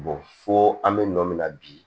fo an bɛ nɔ min na bi